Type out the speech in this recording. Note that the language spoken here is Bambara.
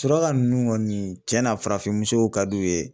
Suraka nunnu kɔni cɛn na farafin musow ka d'u ye.